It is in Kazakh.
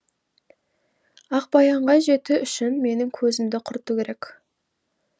ақбаянға жету үшін менің көзімді құрту керек